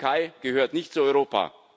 Die Türkei gehört nicht zu Europa.